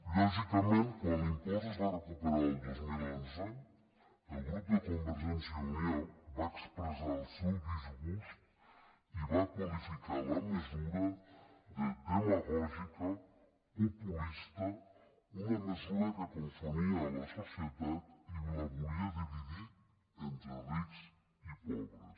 lògicament quan l’impost es va recuperar el dos mil onze el grup de convergència i unió va expressar el seu disgust i va qualificar la mesura de demagògica populista una mesura que confonia la societat i la volia dividir entre rics i pobres